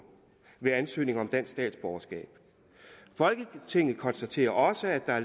ved ansøgninger om dansk statsborgerskab folketinget konstaterer også at der